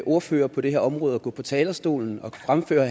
ordfører på det her område at gå på talerstolen og fremføre